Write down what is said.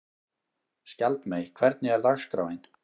Skjaldmey, hvernig er dagskráin?